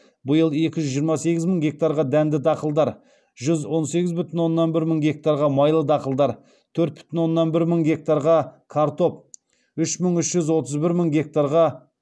биыл екі жүз жиырма сегіз мың гектарға дәнді дақылдар жүз он сегіз бүтін оннан бір мың гектарға майлы дақылдар төрт бүтін оннан бір мың гектарға картоп үш мың үш жүз отыз бір мың гектарға